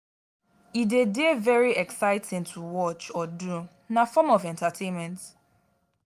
e de dey very exciting to watch or do na form of entertainment